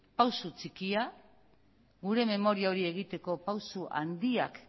pausu txikia gure memoria hori egiteko pausu handiak